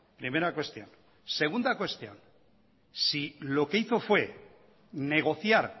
primera cuestión segunda cuestión si lo que hizo fue negociar